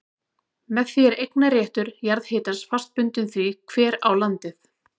Með því er eignarréttur jarðhitans fast bundinn því hver á landið.